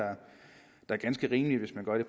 er ganske rimeligt hvis man gør det